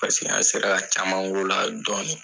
Paseke an sera ka caman k'o la dɔɔni.